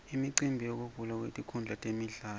imicimbi yekuvulwa kwetinkhundla temidlalo